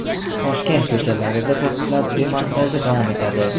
Toshkent ko‘chalarida to‘siqlar demontaji davom etadi.